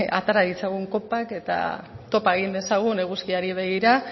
atera ditzagun kopak eta topa egin dezagun eguzkiari begira